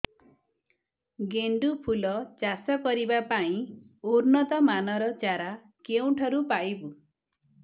ଗେଣ୍ଡୁ ଫୁଲ ଚାଷ କରିବା ପାଇଁ ଉନ୍ନତ ମାନର ଚାରା କେଉଁଠାରୁ ପାଇବୁ